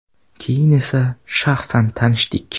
Keyin esa shaxsan tanishdik.